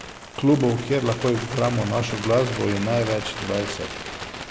Klubov, kjer lahko igramo našo glasbo je največ dvajset.